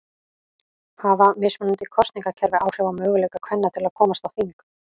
Hafa mismunandi kosningakerfi áhrif á möguleika kvenna til að komast á þing?